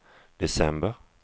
december